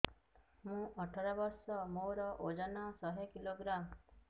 ମୁଁ ଅଠର ବର୍ଷ ମୋର ଓଜନ ଶହ କିଲୋଗ୍ରାମସ